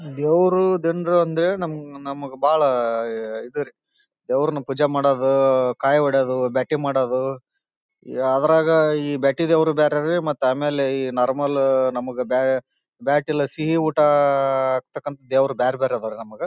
ದೇವರು ದಿಂಡ್ರು ಅಂದ್ರೆ ನಮ್ ನಮಗೆ ಬಹಳ ಹ್ಹ್ ಇದು ರೀ ದೇವರನ್ನ ಪೂಜೆ ಮಾಡೋದು ಕಾಯಿ ಹೊಡೆಯುವುದು ಬ್ಯಾಟಿಂಗ್ ಮಾಡೋದು ಯಾ ಅದರಾಗ ಈ ಬ್ಯಾಟಿಂಗೆ ಹೋಗೋವರು ಬೇರೆ ರೀ ಮತ್ತ್ ಆಮೇಲೆ ಈ ನಾರ್ಮಲ್ ನಮಗ ಬೇಯ್ ಬ್ಯಾಟ್ ಇಲ್ದ ಸಿಹಿ ಊಟ ಆಆಆ ಹಾಕ್ತಕಾಂತ ದೇವರು ಬೇರ್ ಬೇರೆ ಇದಾವ ರೀ ನಮಗ.